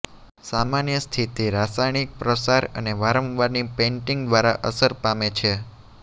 સામાન્ય સ્થિતિ રાસાયણિક પ્રસાર અને વારંવારની પેઇન્ટિંગ દ્વારા અસર પામે છે